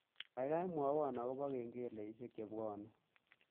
Gaigai mwowon agoba kengeleshek chebwane